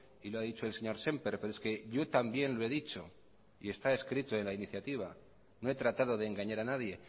y lo ha dicho el señor sémper pero es que yo también lo he dicho y está escrito en la iniciativa no he tratado de engañar a nadie